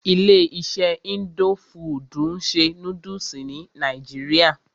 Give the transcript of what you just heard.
Ilé iṣé indo fudù ń ṣe nódúsì ní nàìjíría.